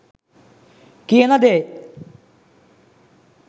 කියන දේ